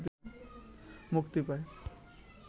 মুক্তি পায়।